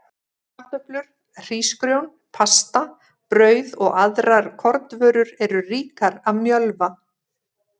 Kartöflur, hrísgrjón, pasta, brauð og aðrar kornvörur eru ríkar af mjölva.